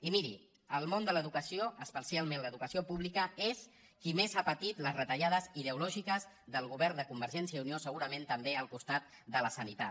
i miri el món de l’educació especialment l’educació pública és el que més ha patit les retallades ideològiques del govern de convergència i unió segurament també al costat de la sanitat